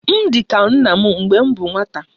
M di ka nna m mgbe m bu nwata